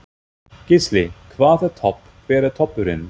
Gísli: Hvað er topp, hver er toppurinn?